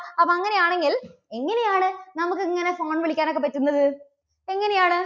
അപ്പോ അങ്ങനെയാണെങ്കിൽ എങ്ങനെയാണ് നമുക്ക് ഇങ്ങനെ phone വിളിക്കാൻ ഒക്കെ പറ്റുന്നത് എങ്ങനെയാണ്?